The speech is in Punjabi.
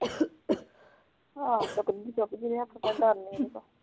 ਆਹੋ ਚੁਕਤੀ ਏ ਦਾਦੀ ਨੇ ਕੋਈ